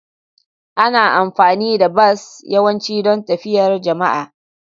Ana amfani da bas yawanci don tafiyar jama'a.